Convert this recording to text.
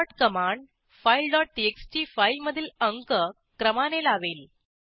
sort command file dot TXT फाईलमधील अंक क्रमाने लावेल